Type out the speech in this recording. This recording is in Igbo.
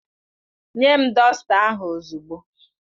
Nye m dọsta ahụ ozugbo!